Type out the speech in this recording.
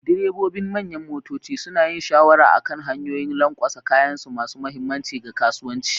Direbobin manyan motoci suna yin shawarwari akan hanyoyin lanƙwasa, kayansu masu mahimmanci ga kasuwanci.